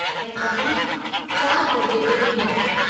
ऐं तव्हां 4 दरिजे ते हूंदा।